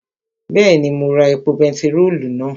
Bẹ́ẹ̀ni, mo ra epo bentiróòlù náà